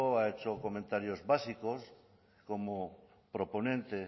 ha hecho comentarios básicos como proponente